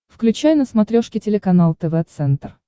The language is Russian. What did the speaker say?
включай на смотрешке телеканал тв центр